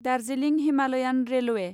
Darjeeling Himalayan railway